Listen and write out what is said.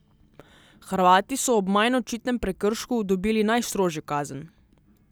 Hrvati so ob manj očitnem prekršku dobili najstrožjo kazen.